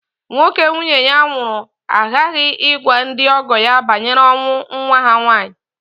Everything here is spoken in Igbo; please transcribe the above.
Nwoke nwunye ya nwụrụ aghaghị ịgwa ndị ọgọ ya banyere ọnwụ nwa ha nwaanyị